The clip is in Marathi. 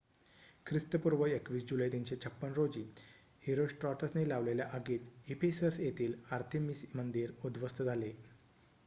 ख्रिस्तपूर्व २१ जुलै ३५६ रोजी हिरोस्ट्राटसने लावलेल्या आगीत इफेसस येथील आर्थेमिस मंदिर उध्वस्त झाले